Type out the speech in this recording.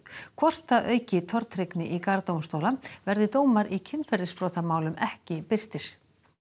hvort það auki tortryggni í garð dómstóla verði dómar í kynferðisbrotamálum ekki birtir